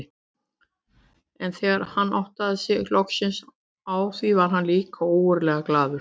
En þegar hann áttaði sig loksins á því varð hann líka ógurlega glaður.